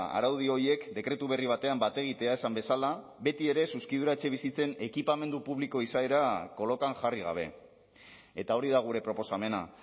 araudi horiek dekretu berri batean bat egitea esan bezala betiere zuzkidura etxebizitzen ekipamendu publiko izaera kolokan jarri gabe eta hori da gure proposamena